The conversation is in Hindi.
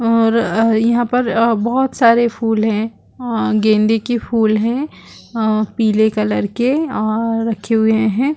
और अ यहाँ पर बहुत सारे फूल है अ गेंदे की फूल है अ पीले कलर के अ रखॆ हुये हैं ।---